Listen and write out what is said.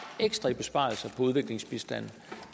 ekstra i besparelser på udviklingsbistanden